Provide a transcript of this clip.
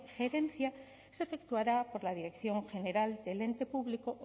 gerencia se efectuará por la dirección general del ente público